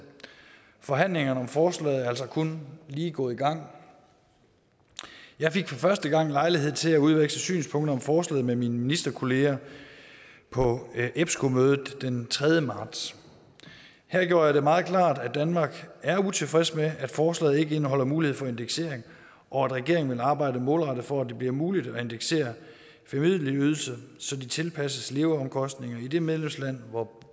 forhandlingerne om forslaget er altså kun lige gået i gang jeg fik for første gang lejlighed til at udveksle synspunkter om forslaget med mine ministerkolleger på epsco mødet den tredje marts her gjorde jeg det meget klart at danmark er utilfreds med at forslaget ikke indeholder mulighed for indeksering og at regeringen vil arbejde målrettet for at det bliver muligt at indeksere familieydelser så de tilpasses leveomkostningerne i det medlemsland hvor